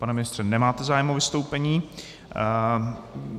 Pane ministře, nemáte zájem o vystoupení?